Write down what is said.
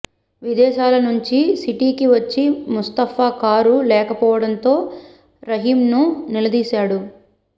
విదేశాల నుంచి సిటీకి వచ్చి ముస్తాఫా కారు లేకపోవడంతో రహీంను నిలదీశాడు